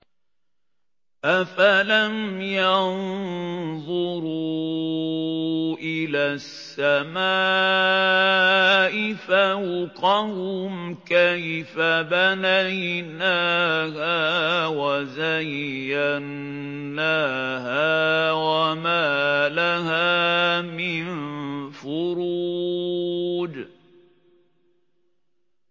أَفَلَمْ يَنظُرُوا إِلَى السَّمَاءِ فَوْقَهُمْ كَيْفَ بَنَيْنَاهَا وَزَيَّنَّاهَا وَمَا لَهَا مِن فُرُوجٍ